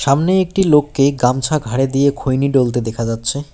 সামনে একটি লোককে গামছা ঘাড়ে দিয়ে খৈনি ডলতে দেখা যাচ্ছে।